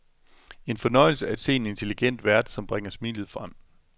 En fornøjelse at se en intelligent vært, som bringer smilet frem.